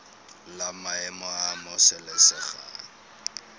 la maemo a a amogelesegang